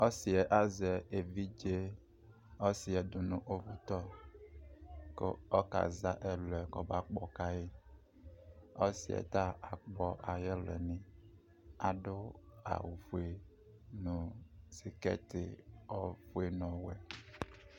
ɔsiɛ azɛ evidze ɔsi yɛ do no uvu tɔ ko ɔka za ɛlu yɛ boa ko ɔba kpɔ ka yi ɔsiɛ ta akpɔ ayi ɛlu ni ado awu fue no sikɛti fue no ɔwɛ